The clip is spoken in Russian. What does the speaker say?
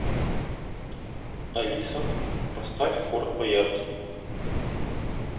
алиса поставь форт боярд